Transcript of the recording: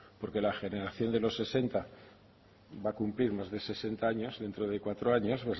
porque la generación de los sesenta va cumplir más de sesenta años dentro de cuatro años